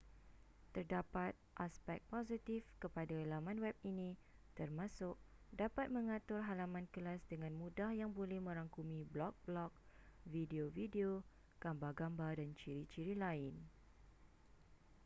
terdapat aspek positif kepada laman web ini termasuk dapat mengatur halaman kelas dengan mudah yang boleh merangkumi blog-blog video-video gambar-gambar dan ciri-ciri lain